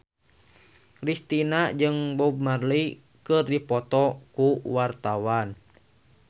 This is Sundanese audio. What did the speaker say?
Kristina jeung Bob Marley keur dipoto ku wartawan